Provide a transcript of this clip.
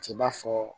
T'a fɔ